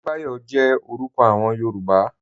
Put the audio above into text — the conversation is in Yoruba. Adebayo jẹ̀ orúkọ awọn Yorùbá.